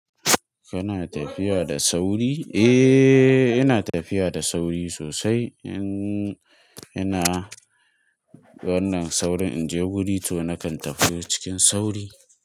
Kana tafiya da sauri? Eh, ina tafiya da sauri sosai. In ina wannan saurin in je wuri to nakan tafiya cikin sauri.